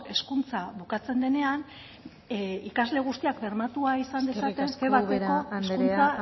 hezkuntza bukatzen denena ikasle guztiak bermatua izan dezaten erabateko hizkuntza